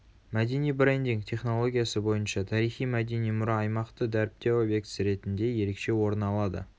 мәдени брендинг технологиясы бойынша тарихи мәдени мұра аймақты дәріптеу объектісі ретінде ерекше орны алады